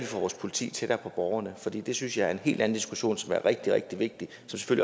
får vores politi tættere på borgerne for det det synes jeg er en helt anden diskussion som er rigtig rigtig vigtig